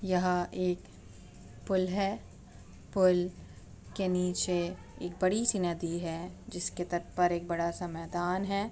यह एक पुल है पुल के नीचे एक बड़ी सी नदी है जिसके तट पर एक बड़ा सा मैदान है।